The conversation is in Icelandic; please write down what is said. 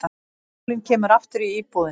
Sálin kemur aftur í íbúðina.